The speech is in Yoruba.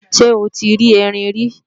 Ṣé o ti rí Erin rí?